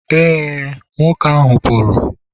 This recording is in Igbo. e, nwoke ahụ pụrụ